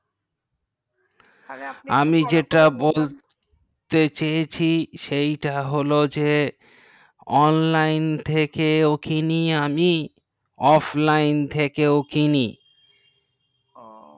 আমি যেটা বলতে চেয়েছি সেথা হলো যে online থেকে কিনি আমি offline থেকে কিনি ও